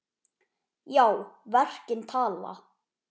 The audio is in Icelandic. Já, verkin tala.